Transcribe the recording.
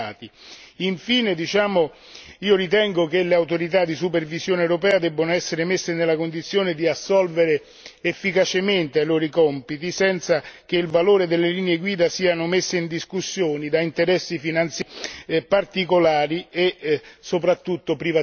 Infine diciamo, io ritengo che le autorità di supervisione europea debbano essere messe nella condizione di assolvere efficacemente ai loro compiti senza che il valore delle linee guida sia messo in discussione da interessi finanziari particolari e soprattutto privatistici.